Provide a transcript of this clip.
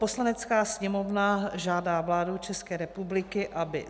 "Poslanecká sněmovna žádá vládu České republiky, aby